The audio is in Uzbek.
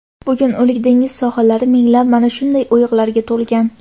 bugun O‘lik dengiz sohillari minglab mana shunday o‘yiqlarga to‘lgan.